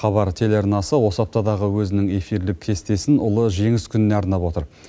хабар телеарнасы осы аптадағы өзінің эфирлік кестесін ұлы жеңіс күніне арнап отыр